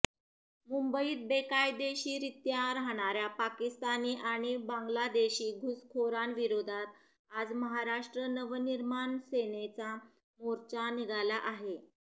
मुंबईत बेकायदेशीररित्या राहणाऱ्या पाकिस्तानी आणि बांगलादेशी घुसखोरांविरोधात आज महाराष्ट्र नवनिर्माण सेनेचा मोर्चा निघाला आहे